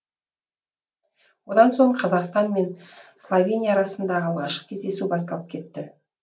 одан соң қазақстан мен словения арасындағы алғашқы кездесу басталып кетті